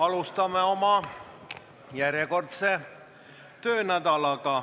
Alustame oma järjekordset töönädalat.